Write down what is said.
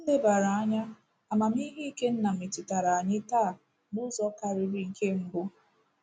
Nlebara anya amamihe Ikenna metụtara anyị taa n’ụzọ karịrị nke mbụ.